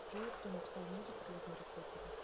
джой кто написал музыку для гарри поттера